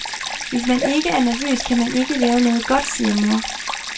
Hvis man ikke er nervøs, kan man ikke lave noget godt, siger mor.